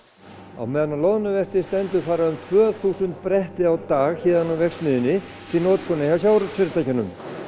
á meðan á loðnuvertíð stendur fara um tvö þúsund bretti á dag héðan úr verksmiðjunni til notkunar hjá sjávarútvegsfyrirtækjunum